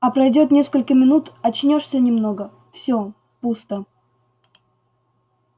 а пройдёт несколько минут очнёшься немного все пусто